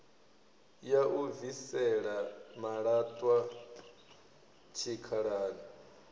ya u bvisela malaṱwa tshikhalani